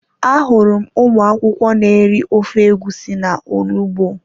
Ahụrụ m ụmụ akwụkwọ n'eri ofe egusi na onugbu